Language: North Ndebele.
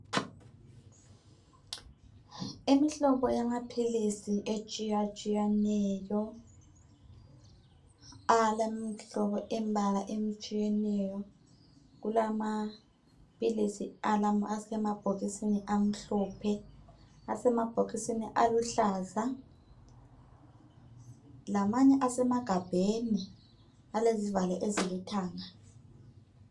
Imihlobo yamaphilisi atshiya tshiyeneyo elemihlobo yembala atshiyeneyo kulama philisi asemabhokisini amhlophe asemabhokisini aluhlaza lamanye asemagabheni alezivalo ezilithanga